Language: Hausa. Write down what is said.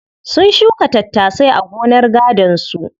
Sun shuka tattasai a gonar gadon su.